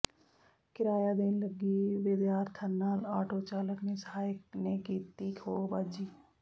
ਕਿਰਾਇਆ ਦੇਣ ਲੱਗੀ ਵਿਦਿਆਰਥਣ ਨਾਲ ਆਟੋ ਚਾਲਕ ਤੇ ਸਹਾਇਕ ਨੇ ਕੀਤੀ ਖੋਹਬਾਜ਼ੀ